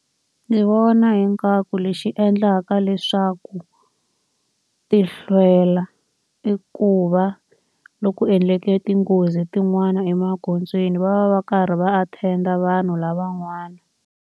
Ndzi vona ingaku lexi endlaka leswaku ti hlwela i ku va loko endleke tinghozi tin'wana emagondzweni va va va karhi va attend-a vanhu lava n'wana.